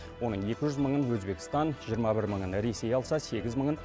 оның екі жүз мыңын өзбекстан жиырма бір мыңын ресей алса сегіз мыңын